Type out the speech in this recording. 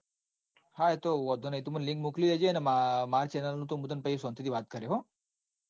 હા એતો વોંધો નઈ. તું મન link મોકલી દેજે ન મારી channel ની તો મુ તન સોનતી થી વાત કરે હો.